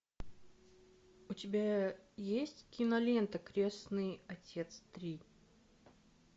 у тебя есть кинолента крестный отец три